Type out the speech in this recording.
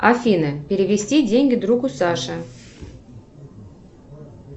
афина перевести деньги другу саше